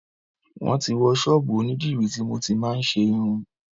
Wọ́n ti wó ṣọ́ọ́bù onídìrí tí mo ti máa ń ṣe irun.